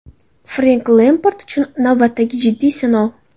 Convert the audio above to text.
Frenk Lempard uchun navbatdagi jiddiy sinov.